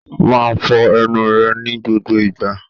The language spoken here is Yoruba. Máa fọ ẹnu ẹ ní gbogbo ìgbà.